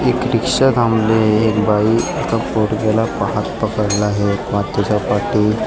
एक रिक्षा थांबली आहे एक बाई आता पोरग्याला पा हात पकडला आहे पा त्याच्या पाठीत --